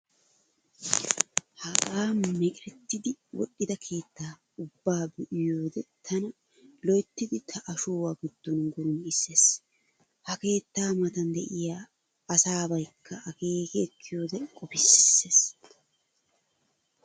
Hagaa meqeretidi wodhdhida keettaa ubbaa be'iyoode tana loyttidi ta ashshuwaa giddon gurum'issees. Ha keettaa matan de'iyaa asaabaykka akeeki ekkiyoode qofissees.